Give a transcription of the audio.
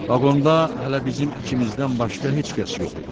Vaqonda hələ bizim ikimizdən başqa heç kəs yox idi.